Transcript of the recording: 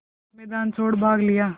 मैदान छोड़ भाग लिया